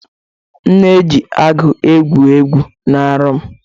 M na-eji agụ egwu egwu na nrọ m.